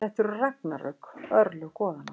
Þetta eru ragnarök, örlög goðanna.